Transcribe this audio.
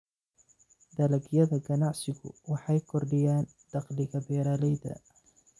Dalagyada ganacsigu waxay kordhiyaan dakhliga beeralayda.